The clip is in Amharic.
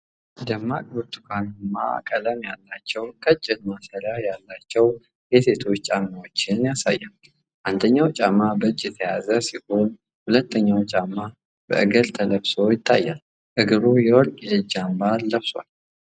ደማቅ ብርቱካንማ ቀለም ያላቸው፣ ቀጭን ማሰሪያ ያላቸው ሴቶች ጫማዎችን ያሳያል። አንደኛው ጫማ በእጅ የተያዘ ሲሆን፣ ሁለተኛው ጫማ በእግር ተለብሶ ይታያል። እግሩ የወርቅ የእጅ አምባር ለብሷል።